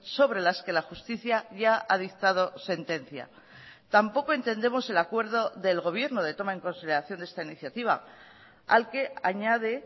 sobre las que la justicia ya ha dictado sentencia tampoco entendemos el acuerdo del gobierno de toma en consideración de esta iniciativa al que añade